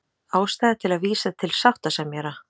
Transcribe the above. Ástæða til að vísa til sáttasemjara